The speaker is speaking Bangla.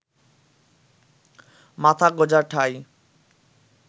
মাথা গোঁজার ঠাঁই